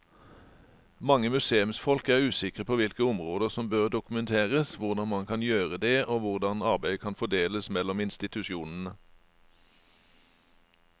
Mange museumsfolk er usikre på hvilke områder som bør dokumenteres, hvordan man kan gjøre det og hvordan arbeidet kan fordeles mellom institusjonene.